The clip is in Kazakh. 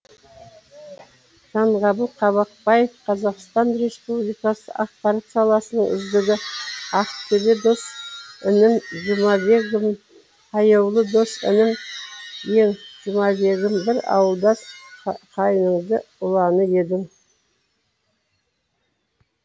жаңғабыл қабақбаев қазақстан республикасы ақпарат саласының үздігі ақтөбе дос інім жұмабегім аяулы дос інім ең жұмабегім бір ауылдас қайыңды ұланы едің